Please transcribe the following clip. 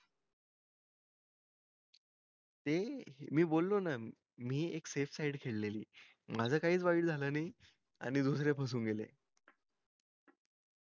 ते मी बोलो ना मी एक safe side केलेली माझं काई क च वाईट झालं नई आणि दुसरे फसुन गेले